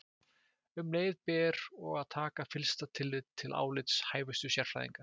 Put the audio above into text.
Um leið ber og að taka fyllsta tillit til álits hæfustu sérfræðinga.